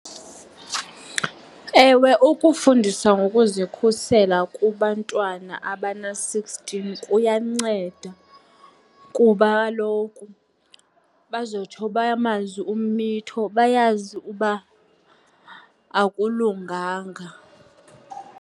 Ewe, ukufundisa ngokuzikhusela kubantwana abana-sixteen kuyanceda kuba kaloku bazotsho bamazi ummitho, bayazi uba akulunganga.